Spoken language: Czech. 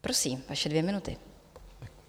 Prosím, vaše dvě minuty.